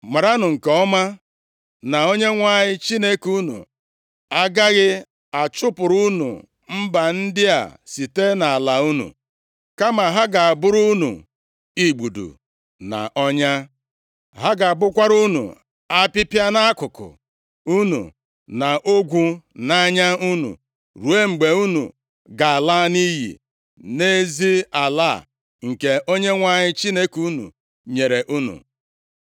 maranụ nke ọma, na Onyenwe anyị Chineke unu agaghị achụpụrụ unu mba ndị a site nʼala unu. Kama ha ga-abụrụ unu igbudu na ọnya. Ha ga-abụkwara unu apịpịa nʼakụkụ unu, na ogwu nʼanya unu, ruo mgbe unu ga-ala nʼiyi nʼezi ala a, nke Onyenwe anyị Chineke unu nyere unu.